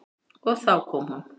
Og þá kom hún.